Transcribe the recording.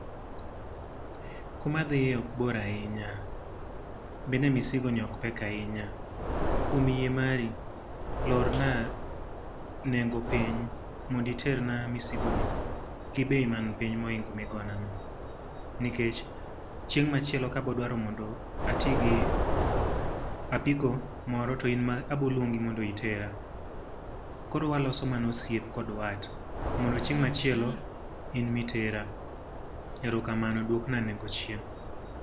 Kuma adhiye ok bor ahinya. Bende misigo ni ok pek ahinya. Kuom yie mari, lorna nengo piny, mondo iterna misigo ni gi bei mani piny mohingo ma igoyo na no. Nikech chieng' machielo ka abiro dwaro mondo atigi apiko moro to in ema abiro luongi mondo itera. Koro waloso mana osiep kod wat, mondo chieng' machielo in ema itera. Eromamano. Duok na nengo chien.